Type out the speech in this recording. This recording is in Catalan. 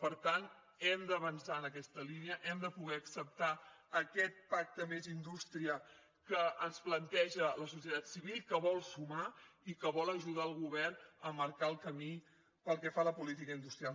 per tant hem d’avançar en aquesta línia hem de poder acceptar aquest pacte més indústria que ens planteja la societat civil que vol sumar i que vol ajudar el govern a marcar el camí pel que fa a la política industrial